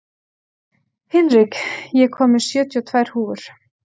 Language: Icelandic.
Hinrik, ég kom með sjötíu og tvær húfur!